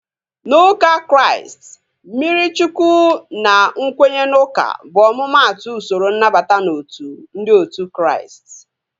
Na ụka Kraịst, mmiri Chukwu na nkwenye n'uka bụ omumatu usoro nnabata n'otu ndị otu Kraịst